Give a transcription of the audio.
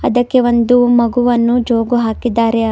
ಅದಕ್ಕೆ ಒಂದು ಮಗುವನು ಜೋಕು ಹಾಕಿದ್ದಾರೆ.